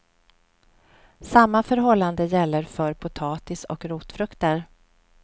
Samma förhållande gäller för potatis och rotfrukter.